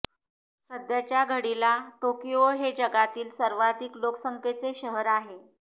सध्याच्या घडीला टोकियो हे जगातील सर्वाधिक लोकसंख्येचे शहर आहे